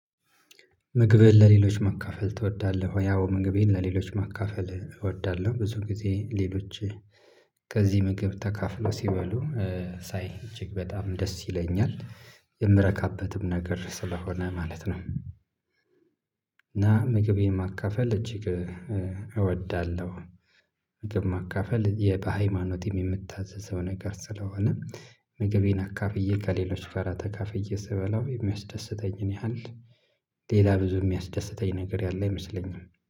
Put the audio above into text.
ምግብህን ለሌሎች ማካፈል ትወዳለህ ወይ? አዎ ምግቤን ለሌሎች ማካፈል እወዳለሁ ብዙ ጊዜ ሌሎች ከዚህ ምግብ ተካፍሎ ሲበሉ ሳይ እጅግ በጣም ደስ ይለኛል ነገር ስለሆነ ማለት ነው። እና ምግቤን ማካፈል እጅግ እወዳለሁ። ምግብ ማካፈል በሃይማኖትም የሚታዘዝ ነገር ስለሆነ ምግቤን አካፍዬ ከሌሎች ጋራ ተካፍዬ ስበላው የሚያስደስተኝን ያህል ሌላ ብዙ እሚያስደስተኝ ነገር ያለ አይመስለኝም